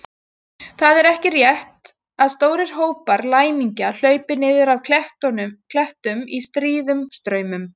Það er ekki rétt að stórir hópar læmingja hlaupi niður af klettum í stríðum straumum.